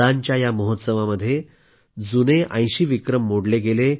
खेळांच्या या महोत्सवामध्ये जुने 80 विक्रम मोडले